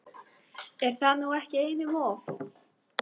Er það nú ekki einum of?